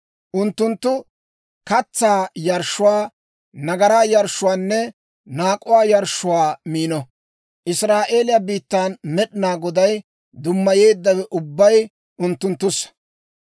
Unttunttu katsaa yarshshuwaa, nagaraa yarshshuwaanne naak'uwaa yarshshuwaa miino. Israa'eeliyaa biittan Med'inaa Godaw dummayeeddawe ubbay unttunttussa.